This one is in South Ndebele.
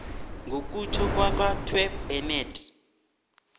ngokutjho kwakatw bennett